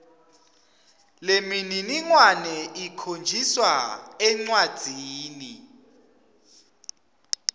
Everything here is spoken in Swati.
lemininingwane ikhonjiswa encwadzini